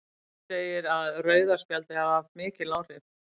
Guðmundur segir að rauða spjaldið hafi haft mikil áhrif.